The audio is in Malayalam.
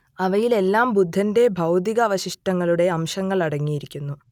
അവയിലെല്ലാം ബുദ്ധന്റെ ഭൗതികാവശിഷ്ടങ്ങളുടെ അംശങ്ങൾ അടങ്ങിയിരിക്കുന്നു